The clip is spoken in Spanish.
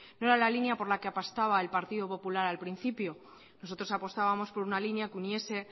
no era la línea por la que apostaba el partido popular al principio nosotros apostabamos por una línea que uniese